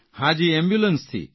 જી એમ્બ્યુલન્સથી